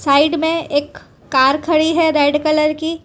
Side में एक car खड़ी है रेड कलर की।